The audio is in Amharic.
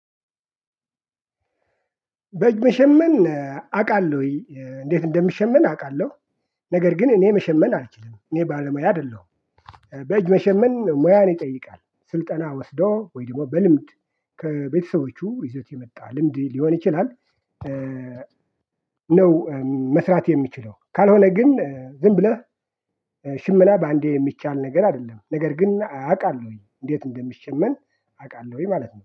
በእጅ መሸመን አውቃለሁ እንዴት እንደሚሸመን አውቃለሁ። ነገር ግን እኔ መሸመን አልችልም እኔ ባለሙያ አይደለሁም። በእጅ መሸመን ሙያን ይጠይቃል ስልጠና ወስዶ ወይ ደግሞ በልምድ ከቤተሰቦቹ ይዞት የመጣ ልምድ ሊሆን ይችላል። ነው። መስራት የሚችለው ካልሆነ ግን ዝም ብለህ ሽመና በአንዴ የሚቻል ነገር አይደለም። ነገር ግን አውቃለሁኝ እንዴት እንደሚሸመን አውቃለሁኝ ማለት ነው